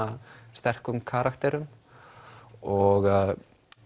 sterkum karakterum og